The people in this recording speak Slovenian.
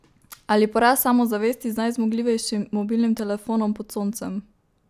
Ali porast samozavesti z najzmogljivejšim mobilnim telefonom pod soncem!